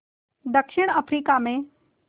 दक्षिण अफ्रीका में